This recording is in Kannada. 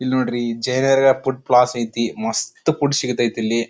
ಇಲ್ಲಿ ನೋಡ್ರಿ ಜೈನಗರ ಫುಡ್ ಪ್ಲಸ್ ಐತ್ತಿ ಮಸ್ತ್ ಫುಡ್ ಸಿಗ್ತಾಯಿತ್ತ ಇಲ್ಲಿ.